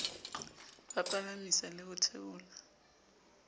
ba palamisa le ho theola